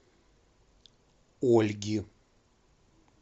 ольги